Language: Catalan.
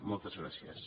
moltes gràcies